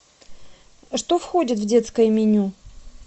что входит в детское меню